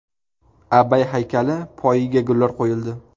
Abay haykali poyiga gullar qo‘yildi.